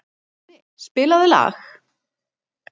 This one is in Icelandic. Máni, spilaðu lag.